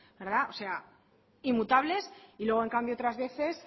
o sea inmutables y luego en cambio otras veces